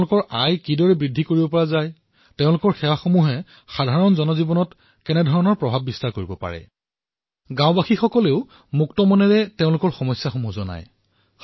তেওঁলোকে এয়াও ভূ লয় যে চৰকাৰী সেৱাসমূহ গাঁওবাসীয়ে পাইছে নে নাই গাঁওবাসীয়ে মুক্তভাৱে নিজৰ সমস্যাৰ বিষয়ে বৰ্ণনা কৰে